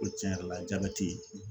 Ko cɛn yɛrɛ la jabɛti